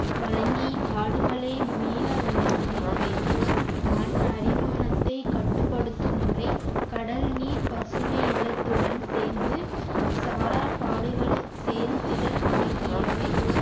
வழங்கி காடுகளை மீள வை~ மீள வைத்தல் மண் அரிமானத்தை கட்டுப்படுத்தும் முறை கடல் நீர் பசுமை இல்லத்துடன் சேர்ந்து சாரா காடுகளின் செயல்திறன் ஆகியவை